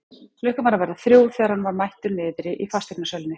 Klukkan var að verða þrjú þegar hann var mættur niðri í fasteignasölunni.